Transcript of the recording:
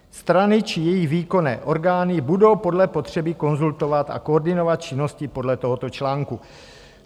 Strany či její výkonné orgány budou podle potřeby konzultovat a koordinovat činnosti podle tohoto článku.